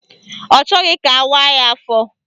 Ọ chọghị ka awaaa ya afọ